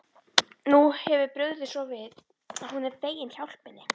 Nú hefur brugðið svo við að hún er fegin hjálpinni.